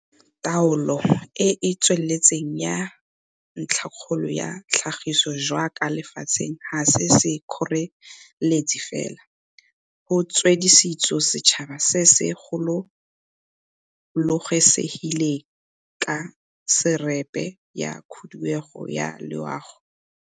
Taolo e e tsweletseng ya ntlhakgolo ya tlhagiso jaaka lefatshe ga se sekgoreletsi fela go tswelediso setšhaba se se gololosegileng, ke resepe ya khuduego ya loago.